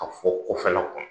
Ka fɔ kɔfɛle kɔnɔ.